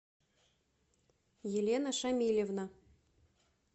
елена шамильевна